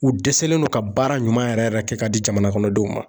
U dɛsɛlen no ka baara ɲuman yɛrɛ yɛrɛ kɛ ka di jamana kɔnɔ denw ma